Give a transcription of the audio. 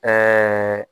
Ɛɛ